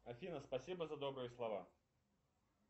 афина спасибо за добрые слова